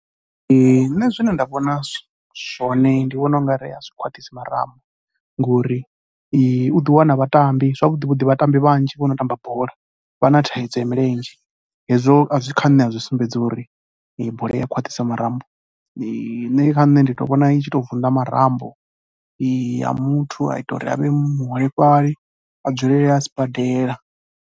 Nṋe zwine nda vhonisa zwone, ndi vhona u nga ri a zwi khwaṱhisi marambo ngori u ḓiwana vhatambi, zwavhuḓi vhuḓi vhatambi vhanzhi vho no tamba bola vha na thaidzo ya milenzhe hezwo kha nṋe a zwi sumbedzi uri bola i ya khwaṱhisa marambo. Kha nṋe ndi tou vhona i tshi tou vunḓa marambo a muthu a ita uri a vhe muholefhali a dzulele a sibadela.